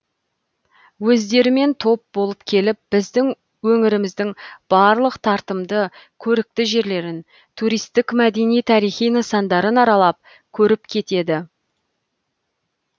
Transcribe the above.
өздерімен топ болып келіп біздің өңіріміздің барлық тартымды көрікті жерлерін туристік мәдени тарихи нысандарын аралап көріп кетеді